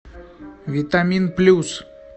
витамин плюс